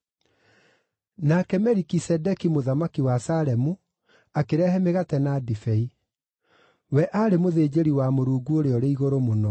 Nake Melikisedeki mũthamaki wa Salemu akĩrehe mĩgate na ndibei. We aarĩ mũthĩnjĩri wa Mũrungu Ũrĩa-ũrĩ-Igũrũ-Mũno.